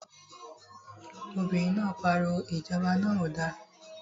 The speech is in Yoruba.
Obìnrin náà pariwo, Ìjọba náà ò da!